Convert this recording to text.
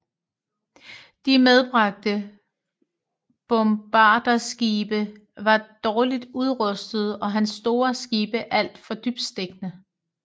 De medbragte bombarderskibe var dårligt udrustede og hans store skibe alt for dybtstikkende